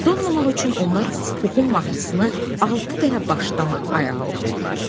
Donmamaq üçün onlar Puxun mahnısını altı dəfə başdan ayağa oxudular.